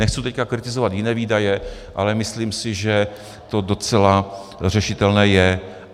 Nechci teď kritizovat jiné výdaje, ale myslím si, že to docela řešitelné je.